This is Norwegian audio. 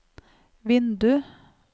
vindu